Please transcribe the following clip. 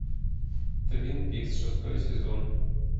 твин пикс шестой сезон